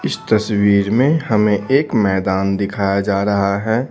इस तस्वीर में हमें एक मैदान दिखाया जा रहा है।